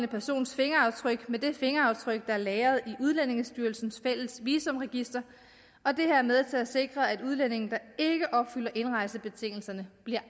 persons fingeraftryk med det fingeraftryk der er lagret i udlændingestyrelsens fælles visumregister og det er med til at sikre at udlændinge der ikke opfylder indrejsebetingelserne bliver